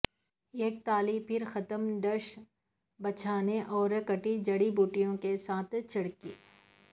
ایک تالی پر ختم ڈش بچھانے اور کٹی جڑی بوٹیوں کے ساتھ چھڑکی